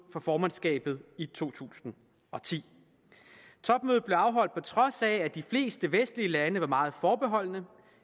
for formandskabet i to tusind og ti topmødet blev afholdt på trods af at de fleste vestlige lande var meget forbeholdne